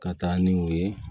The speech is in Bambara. Ka taa ni o ye